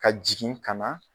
Ka jigin ka na